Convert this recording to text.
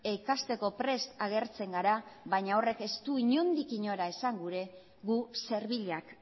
ikasteko prest agertzen gara baina horrek ez du inondik inora esan gura gu serbilak